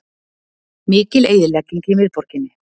Mikil eyðilegging í miðborginni